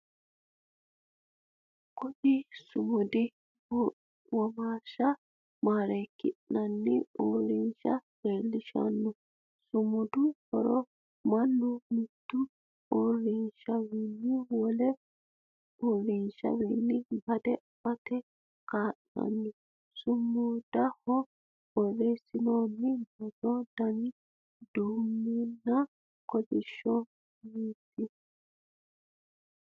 Kunni sumudi womaasha mareeki'nanni uurinsha leelishanoho. Sumudu horo mannu mite uurinsha wole uurinshawiinni bade afate kaa'lano. Sumudaho boreesinoonni borro danni duumunninna kolishuniiti.